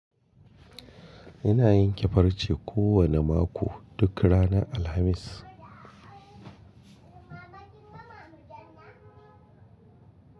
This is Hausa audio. Ina yin kifarce kowane mako duk ranar Alhamis.